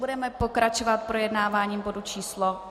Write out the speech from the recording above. Budeme pokračovat projednáváním bodu číslo